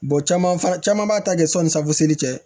caman fana caman b'a ta kɛ sɔni safu seere cɛ